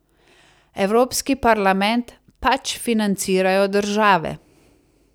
Evropski parlament, pač, financirajo države.